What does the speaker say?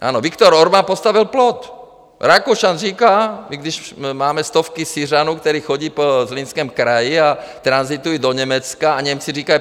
Ano, Viktor Orbán postavil plot, Rakušan říká, i když máme stovky Syřanů, kteří chodí po Zlínském kraji a tranzitují do Německa, a Němci říkají.